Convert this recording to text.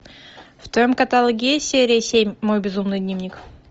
в твоем каталоге есть серия семь мой безумный дневник